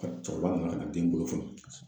cɛkɔrɔba nana ka na den bolo foni.